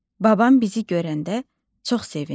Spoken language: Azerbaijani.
Babam bizi görəndə çox sevindi.